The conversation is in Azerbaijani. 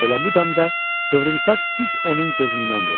Elə bu dəm də qıvrımsaç düz onun gözündən vurdu.